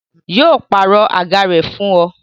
Yo pàrọ̀ àga rẹ fún ọ